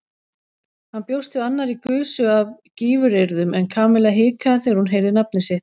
Hann bjóst við annarri gusu af gífuryrðum en Kamilla hikaði þegar hún heyrði nafnið sitt.